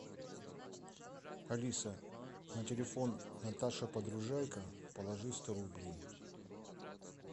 алиса на телефон наташа подружайка положи сто рублей